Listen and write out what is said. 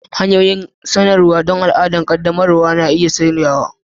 Hanyoyin isarwa don al'adar ƙaddamarwa na iya sauyawa